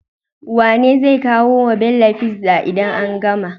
Wane zai kawo wa Bello pizza idan an gama?